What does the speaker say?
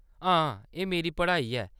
हां, एह्‌‌ मेरी पढ़ाई ऐ।